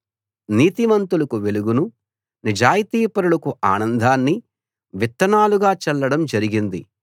నీతిమంతులకు వెలుగును నిజాయితీపరులకు ఆనందాన్ని విత్తనాలుగా చల్లడం జరిగింది